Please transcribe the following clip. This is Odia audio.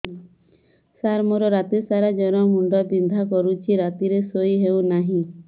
ସାର ମୋର ରାତି ସାରା ଜ୍ଵର ମୁଣ୍ଡ ବିନ୍ଧା କରୁଛି ରାତିରେ ଶୋଇ ହେଉ ନାହିଁ